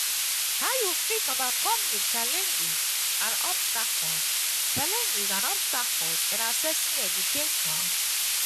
how you fit overcome di challenges and obstacles challenges and obstacles in accessing education?